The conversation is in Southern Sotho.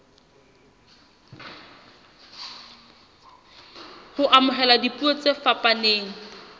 ho amohela dipuo tse fapaneng